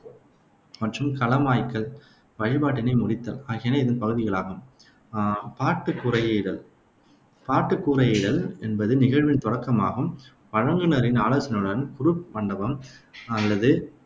மற்றும் களமாய்க்கல் வழிபாட்டினை முடித்தல் ஆகியன இதன் பகுதிகளாகும். அஹ் பாட்டு கூரையிடல் பாட்டுக் கூரையிடல் என்பது நிகழ்வின் தொடக்கம் ஆகும். வழங்குநரின் ஆலோசனையுடன் குருப் மண்டபம் அல்லது